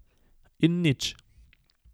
In nič.